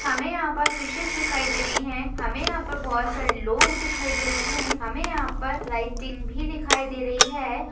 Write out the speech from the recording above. हमें यहां पर फिशेज दिखाई दे रही है हमें यहां पर बहुत सारे लोग दिखाई दे रहे हैं हमें यहां पर लाइटिंग भी दिखाई दे रही है।